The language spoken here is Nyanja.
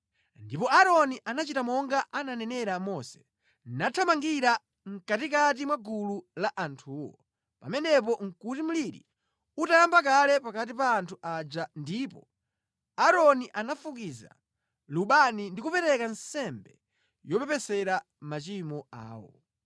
Ndipo Aaroni anachita monga ananenera Mose, nathamangira mʼkatikati mwa gulu la anthuwo. Pamenepo nʼkuti mliri utayamba kale pakati pa anthu aja ndipo Aaroni anafukiza lubani ndi kupereka nsembe yopepesera machimo awo.